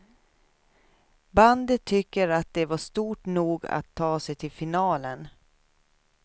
Bandet tycker att det var stort nog att ta sig till finalen.